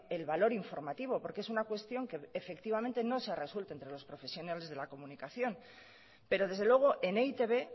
el valor informativo porque es una cuestión que efectivamente no se ha resuelto entre los profesionales de la comunicación pero desde luego en e i te be